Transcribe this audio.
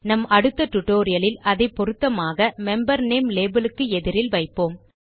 நம் அடுத்த டியூட்டோரியல் லில் அதை பொருத்தமாக மெம்பர் நேம் லேபல் க்கு எதிரில் வைப்போம்